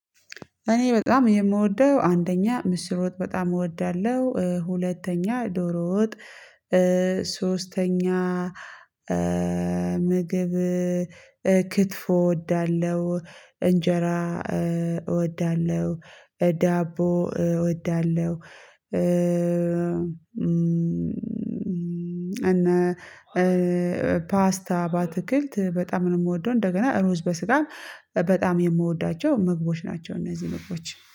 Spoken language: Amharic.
እኔ በጣም የምወደው አንደኛ ምስር ወጥ በጣም እወዳለሁ ሁለተኛ ዶሮ ወጥ ሶስተኛ ምግብ ክትፎ እወዳለሁ እንጀራ እወዳለሁ ዳቦ እወዳለሁ። እና ፓስታ ባትክልት በጣም ነው የምወደው እንደገና ሩዝ በስጋ በጣም የምወዳቸው ምግቦች ናቸው። እነዚህ ምግቦች